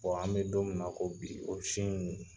an be don min na ko bi, o si nunnu